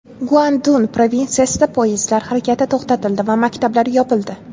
Guandun provinsiyasida poyezdlar harakati to‘xtatildi va maktablar yopildi.